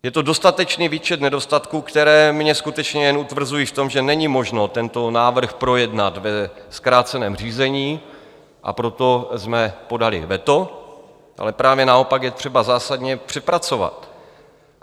Je to dostatečný výčet nedostatků, které mě skutečně jen utvrzují v tom, že není možno tento návrh projednat ve zkráceném řízení, a proto jsme podali veto, ale právě naopak je třeba zásadně přepracovat.